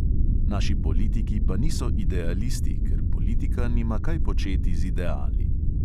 Naši politiki pa niso idealisti, ker politika nima kaj početi z ideali.